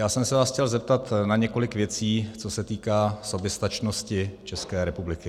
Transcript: Já jsem se vás chtěl zeptat na několik věcí, co se týká soběstačnosti České republiky.